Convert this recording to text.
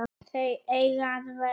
Þau eiga að vera